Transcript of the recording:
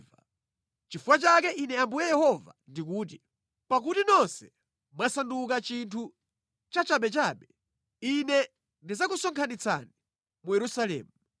Nʼchifukwa chake Ine Ambuye Yehova ndikuti: ‘Pakuti nonse mwasanduka chinthu cha chabechabe, Ine ndidzakusonkhanitsani mu Yerusalemu.